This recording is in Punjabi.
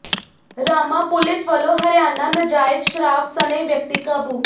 ਰਾਮਾਂ ਪੁਲਿਸ ਵੱਲੋਂ ਹਰਿਆਣਾ ਨਜਾਇਜ਼ ਸ਼ਰਾਬ ਸਣੇ ਵਿਅਕਤੀ ਕਾਬੂ